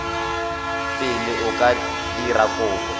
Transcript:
pele o ka dira kopo